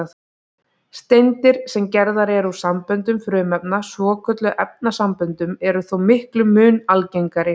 Steindir, sem gerðar eru úr samböndum frumefna, svokölluðum efnasamböndum, eru þó miklum mun algengari.